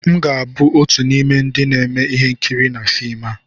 M ga-abụ otu n'ime ndị na-eme ihe nkiri na fim a